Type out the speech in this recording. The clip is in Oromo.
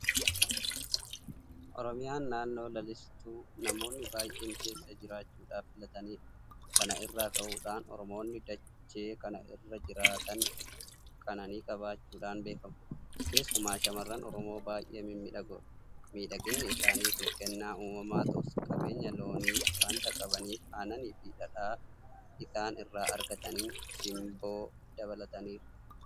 Oromiyaan naannoo lalistuu namoonni baay'een keessa jiraachuudhaaf filatanidha. Kana irraa ka'uudhaan Oromoonni dachee kana irra jiraatan jireenya qananii qabaachuudhaan beekamu. Keessumaa shaamarran Oromoo baay'ee mimmiidhagoodha. Miidhaginni isaanii kun kennaa uumamaa ta'us qabeenya loonii waanta qabaniif aannaniifi dhadhaa isaan irraa argataniin simboo dabalataniiru.